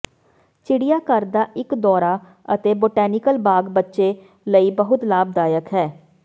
ਚਿੜੀਆਘਰ ਦਾ ਇੱਕ ਦੌਰਾ ਅਤੇ ਬੋਟੈਨੀਕਲ ਬਾਗ਼ ਬੱਚੇ ਲਈ ਬਹੁਤ ਲਾਭਦਾਇਕ ਹੈ